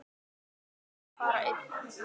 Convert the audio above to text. Ég ákvað því að fara einn.